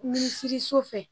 Minisiriso fɛ